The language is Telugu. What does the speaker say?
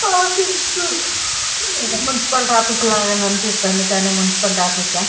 ఆఫీసు మున్సిపల్ ఆఫీస్ దాకా అనిపిస్తుంది కానీ మున్సిపల్ ఆఫీస్ ఆ?